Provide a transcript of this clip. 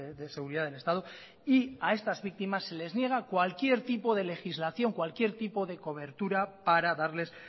de seguridad del estado y a estas víctimas se les niega cualquier tipo de legislación cualquier tipo de cobertura para darles